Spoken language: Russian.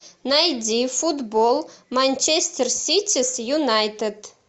найди футбол манчестер сити с юнайтед